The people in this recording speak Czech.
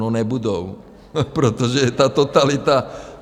No, nebudou, protože je ta totalita.